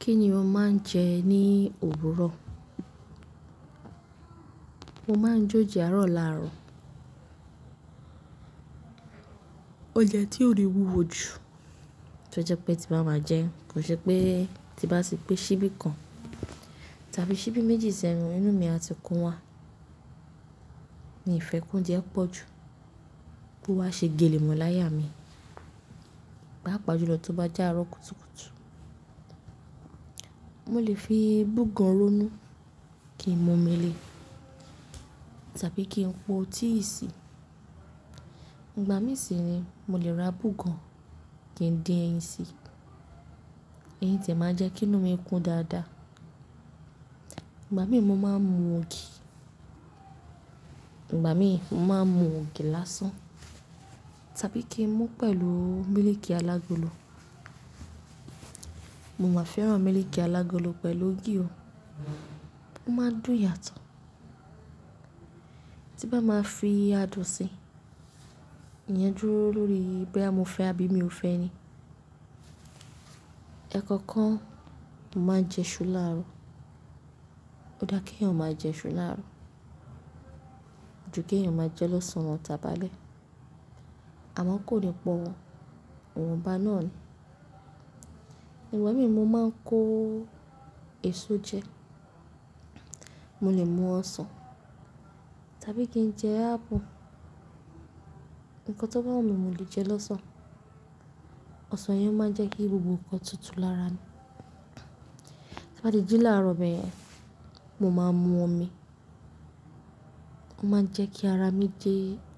Kí ni o máa ń jẹ ní òwúrọ̀? Mo máa ń jó jẹ àárọ̀ láàárọ̀. Oúnjẹ tí ó rí wúwo jù, tó jẹ pé tí bá máa jẹ́, kò ṣe pé tí bá ti gbé síbí kan, tàbí síbí méjì sẹ́nu inú mi a ti kún wa. Mi fẹ́ kounjẹ pọ̀ jù ko wa ṣe gèlèmọ̀ láyà mi, pàápàá jùlọ tó bá jẹ́ àárọ̀ kùtùkùtù. Mo lè fi búgan rónú kí n mu omi le, tàbí kí n po tíì sí. Ìgbà mí sì ni mo lè ra búgan kí n dín ẹyin síi. Ẹyín tìẹ máa jẹ́ kí inú mi kún dáadáa. Ìgbà mí mo máa ń mu ògì. Ìgbà mí mo máa ń mu ògì lásán, tàbí kí n mu pẹ̀lú mílíìkì alágolo. Mo máa fẹ́ran mílíìkì alágolo pẹ̀lú ògì o, ó máa ń dùn yàtọ̀. Tí n bá máa fi adùn si, ìyẹn dúró lórí bóyá mo fẹ́ àbí mi ò fẹ́ ni. Ẹ̀kọ̀ọ̀kan mo máa ń jẹ iṣu láàárọ̀. Ó dáa kí èèyàn máa jẹ iṣu láàárọ̀, ju kí èèyàn máa jẹ lọ́sàn-án lọ tàbí alẹ́. Àmọ́ kò ní pọ̀, òhùn bá náà ni. Ìgbà mí mo máa ń kó èso jẹ́. Mo lè mu ọsàn, tàbí kí n jẹ ápù. Ǹkan tó bá wù mí mo lè jẹ lọ́sàn-án. Ọsàn yẹn máa ń jẹ́ kí gbogbo nǹkan tútù lára mi. Tí bá ti jẹ́ láàárọ̀ bẹyẹn, mo máa mu omi. Ó máa ń jẹ́ kí ara mi je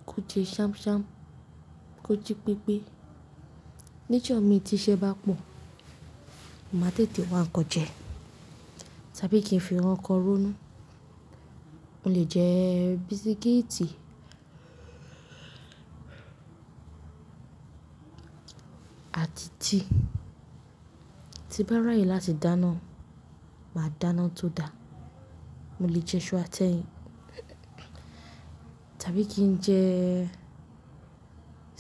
kó je ṣámṣám, kó jí pépé. Níjọ mi ti iṣẹ́ bá pọ̀, mo máa tètè wá nkan jẹ, tàbí kí n fi nkankan rónú. Mo lè jẹ bisikíìtì àti tíì. Ti bá raaye láti dáná, màá dáná tó da. Mo lè jẹ iṣú atẹ́yìn, tàbí kí n jẹ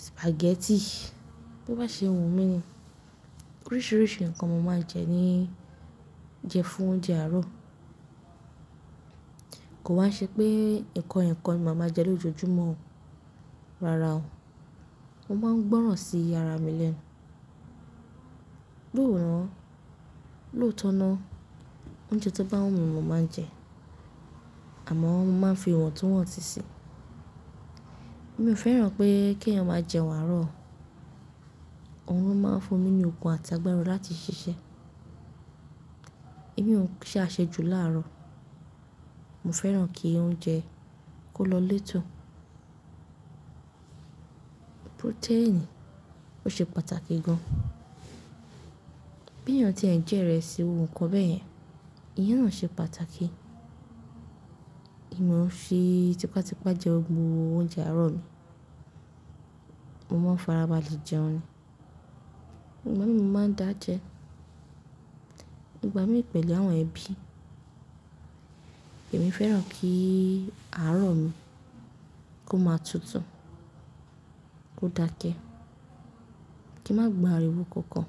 sìpàgẹ́tì. Bí o bá ṣe wù mí ni. Oríṣiríṣi nǹkan mo máa ń jẹ ní-- jẹ fún oúnjẹ àárọ̀. Kò wa n ṣe pé nǹkan ẹyọkan ni màá máa jẹ lójoojúmọ́ o. Rárá o. Mo máa ń gbọ́ràn sí ara mi lẹ́nu. No naa, lóòótọ́ ná, oúnjẹ tó bá wù mí mo máa ń jẹ ẹ́. Àmọ́ mo máa ń fi ìwọ̀ntúnwọ̀nsi sí i. Èmi ò fẹ́ràn pé kí èèyàn máa jẹun àárọ̀ o. Ohun ló máa ń fún mi ní okun àti agbára láti ṣiṣẹ́. Èmi ó ń ṣe àṣejù láàárọ̀. Mo fẹ́ràn kí oúnjẹ kó lọ létò. Protein ò ṣe pàtàkì gan. Bí èèyàn tí ẹ̀ jẹ ìrẹsì gbogbo nkan bẹ́yẹn, ìyẹn náà ṣe pàtàkì. Emi o n fi tipátipá jẹ́ òun mú oúnjẹ àárọ̀ mi. Mo máa ń farabalẹ̀ jẹun ni. Ìgbà mí mo máa ń dà jẹ. Ìgbà mi pẹ̀lú àwọn ẹbí. Èmi fẹ́ràn kí àárọ̀ mi kó máa tútù, kó dákẹ́, kí n má gbọ ariwo kankan.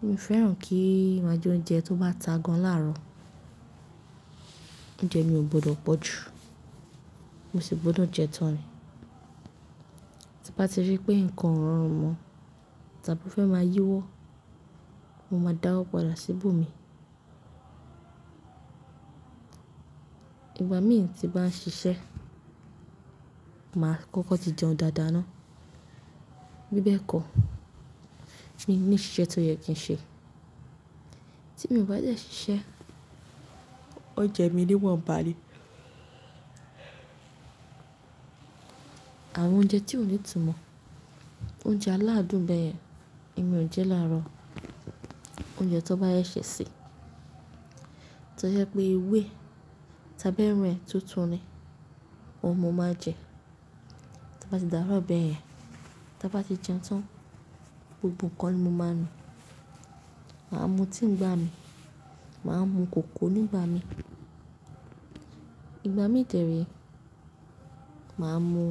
Èmi ò fẹ́ràn kí màá jẹ oúnjẹ tó bá ta gan láàárọ̀. Oúnjẹ mi ò gbọdọ̀ pọ̀ jù. Mo sì gbọdọ̀ jẹ tán ni. Tí bá ti rí pé nǹkan ò rọrùn mọ́, tàbí ó fẹ́ máa yíwọ́, mo máa dáwọ́ padà síbo mi. Ìgbà mí tí bá ń ṣiṣẹ́, màá kọ́kọ́ ti jẹun dáadáa ná. Bí bẹ́ẹ̀ kọ, mi n ní ṣiṣẹ́ tó yẹ kí n ṣe. Tí èmi ò bá dẹ ṣiṣẹ́, oúnjẹ mi niwọnbá ni. Àwọn oúnjẹ tí ò ní ìtumọ̀, oúnjẹ aládùn bẹ́yẹn, èmi ò ń jẹ láàárọ̀. Oúnjẹ tó bá yẹ́ ṣẹ̀ se, tó jẹ́ pé ewé ẹ tàbí ẹran ẹ tuntun ni, òun mo máa n jẹ. To bá ti dáàárọ̀ bẹ́yẹn, ta bá ti jẹun tán, gbogbo nǹkan ni mo máa nu. Màá mu tíì ńgbà mi. Màá mu kòkó nígbà mi. Ìgbà mi tẹre, màá mu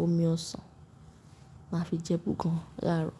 omi ọsàn, màá fi jẹ búgan láàárọ̀.